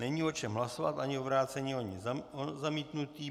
Není o čem hlasovat, ani o vrácení, ani o zamítnutí.